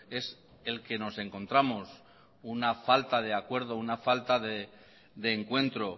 es el que nos encontramos una falta de acuerdo una falta de encuentro